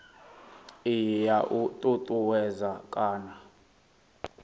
iyi ya u ṱuṱuwedza kana